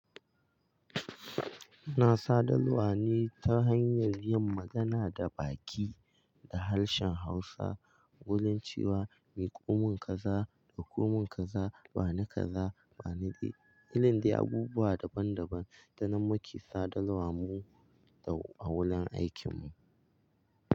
Na sadalwa ne ta hanyar yin magana da baki da harshen Hausa. Gulancewa, makomin kaza, dau komin kaza, bani kaza, bana dai, irin dai abubuwa daban daban. Ta nan muke sadalwa mu da a wurin aikin mu.